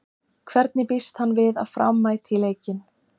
Hvernig býst hann við að Fram mæti í leikinn?